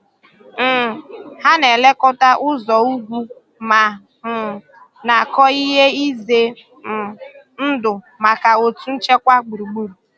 um Hà na-elekọta ụzọ̀ ugwu ma um na-akọ ihe izè um ndụ̀ maka òtù nchekwà gburugburù.